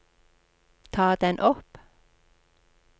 ta den opp